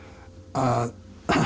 að